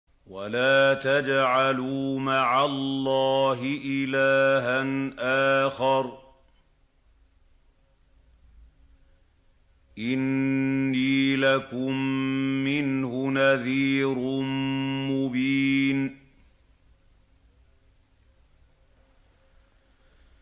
وَلَا تَجْعَلُوا مَعَ اللَّهِ إِلَٰهًا آخَرَ ۖ إِنِّي لَكُم مِّنْهُ نَذِيرٌ مُّبِينٌ